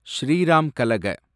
Sriram கலக